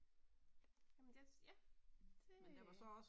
Jamen det ja, det øh